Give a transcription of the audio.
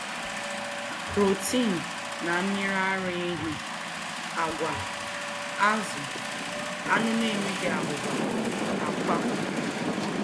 Protein na Mmiri ara ehi Àgwà, azụ̀, anụ̀ na-enweghị abụba, àkwá